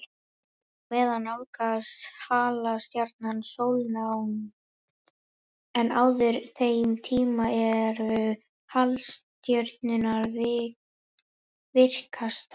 Á meðan nálgast halastjarnan sólnánd, en á þeim tíma eru halastjörnur virkastar.